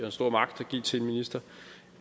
stor magt at give til en minister